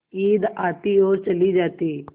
ईद आती और चली जाती